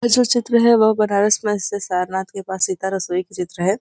यह जो चित्र है। वह बनारस में से सारनाथ के पास सीता रसोई की चित्र है।